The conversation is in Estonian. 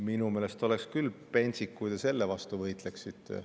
Minu meelest oleks küll pentsik, kui te selle vastu võitleksite.